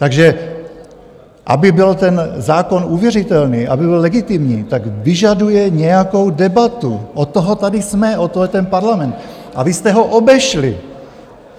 Takže aby byl ten zákon uvěřitelný, aby byl legitimní, tak vyžaduje nějakou debatu, od toho tady jsme, od toho je ten parlament a vy jste ho obešli.